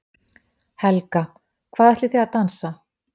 Helga: Hvað ætlið þið að dansa?